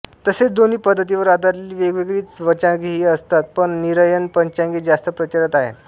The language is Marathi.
तसेच दोन्ही पद्धतींवर आधारलेली वेगवेगळी पंचांगेही असतात पण निरयन पंचांगे जास्त प्रचारात आहेत